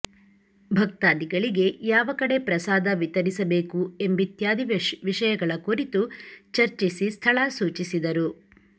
ಭಕ್ತಾದಿಗಳಿಗೆ ಯಾವ ಕಡೆ ಪ್ರಸಾದ ವಿತರಿಸಬೇಕು ಎಂಬಿತ್ಯಾದಿ ವಿಷಯಗಳ ಕುರಿತು ಚರ್ಚಿಸಿ ಸ್ಥಳ ಸೂಚಿಸಿದರು